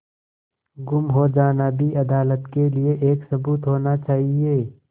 गुम हो जाना भी अदालत के लिये एक सबूत होना चाहिए